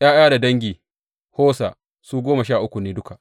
’Ya’ya da dangin Hosa su goma sha uku ne duka.